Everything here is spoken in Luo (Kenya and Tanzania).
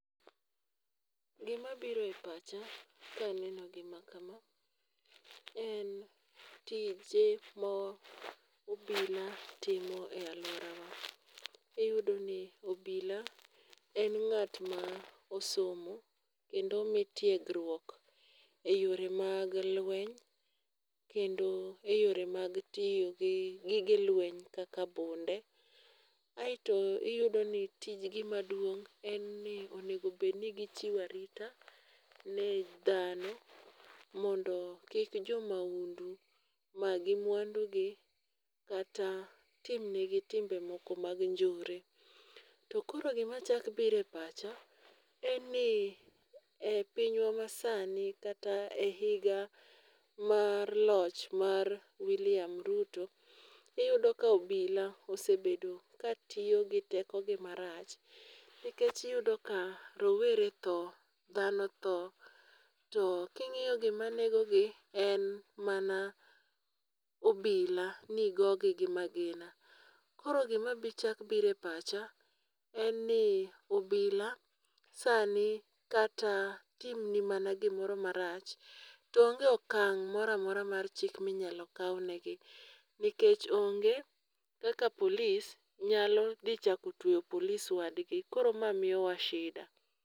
Gima biro e pacha kaneno gima kama en tije ma obila timo e aluorawa. Iyudo ni obila en ng'at ma osomo kendo omi tegruok eyore mag lweny kendo eyore mag tiyo gi gige lweny kaka bunde. Aeto iyudo ni tij gi maduong' onego bed ni gitchiwo arita ne dhano ondo kik jo maundu magi mwandugi kata tim negi timbe moko mag njore. To koro gima chako biro e pacha, ni e pinywa masani kata e higa mar loch mar William Ruto iyudo ka obila osebedo katiyo gi tekogi marach. Nikech iyudo ka rowere tho, dhano tho. To king'iyo gima negogi en mana obila ni goyogi gi magina. Koro gima chako biroe pacha en ni obila sani kata timni mana gimoro marach to onge okang' moro amora mar chik ma inyalo kawnegi nikech onge kaka police nyalo dhi chako tweyo police wadgi koro ma miyowa shida.